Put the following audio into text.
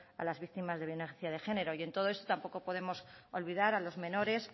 a las víctimas de violencia de género y en todo esto tampoco podemos olvidar a los menores